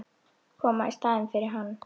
Koma í staðinn fyrir hann.